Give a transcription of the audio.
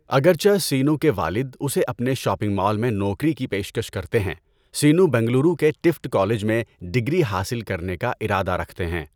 اگرچہ سینو کے والد اسے اپنے شاپنگ مال میں نوکری کی پیشکش کرتے ہیں، سینو بنگلورو کے ٹفٹ کالج میں ڈگری حاصل کرنے کا ارادہ رکھتے ہیں۔